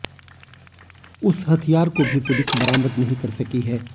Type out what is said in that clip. उस हथियार को भी पुलिस बरामद नहीं कर सकी है